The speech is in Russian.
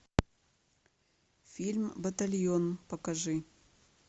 фильм батальон покажи